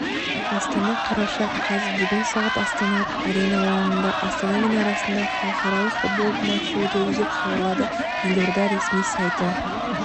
астана қараша қаз бүгін сағат астана арена алаңында астана мен арасында халықаралық футбол матчы өтеді деп хабарлады елорда ресми сайты